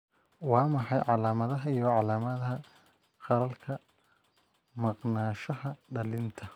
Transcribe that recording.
Waa maxay calaamadaha iyo calaamadaha qallalka maqnaanshaha dhallinta?